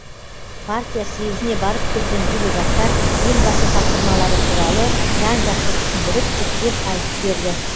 партия съезіне барып келген делегаттар елбасы тапсырмалары туралы жан жақты түсіндіріп жіктеп айтып берді